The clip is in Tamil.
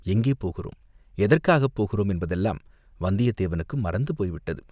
எங்கே போகிறோம், எதற்காகப் போகிறோம் என்பதெல்லாம் வந்தியத்தேவனுக்கு மறந்து போய்விட்டது.